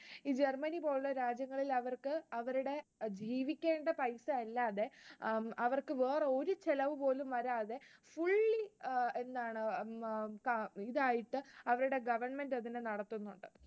ഈ Germany പോലുള്ള രാജ്യങ്ങളിൽ അവർക്ക് അവരുടെ ജീവിക്കണ്ടേ പൈസ അല്ലാതെ, അവർക്ക് വേറെ ഒരു ചെലവും പോലും വരാതെ, fully എന്താണ് ഉം ഇതായിട്ടു അവരുടെ government അതിനെ നടത്തുന്നുണ്ട്.